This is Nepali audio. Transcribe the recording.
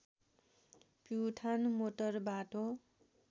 प्युठान मोटर बाटो